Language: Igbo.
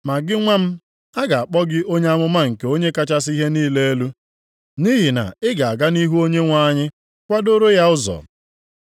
“Ma gị nwa m, a ga-akpọ gị onye amụma nke Onye kachasị ihe niile elu; nʼihi na ị ga-aga nʼihu Onyenwe anyị kwadoro ya ụzọ.